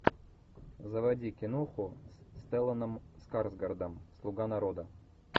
заводи киноху с стелланом скарсгардом слуга народа